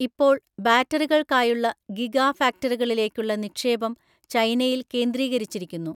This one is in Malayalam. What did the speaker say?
ഇപ്പോൾ, ബാറ്ററികൾക്കായുള്ള ഗിഗാ ഫാക്ടറികളിലേക്കുള്ള നിക്ഷേപം ചൈനയിൽ കേന്ദ്രീകരിച്ചിരിക്കുന്നു.